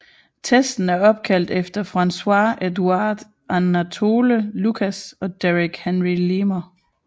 Testen er opkaldt efter François Edouard Anatole Lucas og Derrick Henry Lehmer